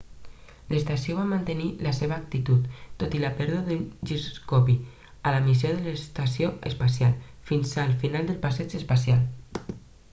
l'estació va mantenir la seva actitud tot i la pèrdua d'un giroscopi a la missió de l'estació espacial fins al final del passeig espacial